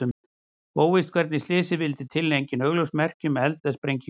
Óvíst er hvernig slysið vildi til en engin augljós merki eru um eld eða sprengingu.